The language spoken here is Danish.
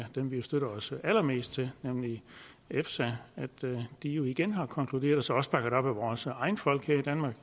dem vi støtter os allermest til nemlig efsa jo igen har konkluderet så også bakket op af vores egne folk her i danmark